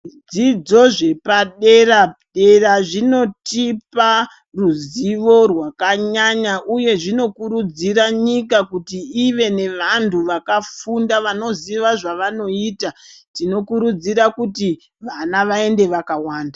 Zvidzidzo zvepaderadera zvinotipa ruzivo rwakanyanya, uye zvinokurudzira nyika kuti ive nevantu vakafunda, vanoziva zvavanoita. Tinokurudzira kuti vana vaende vakawanda.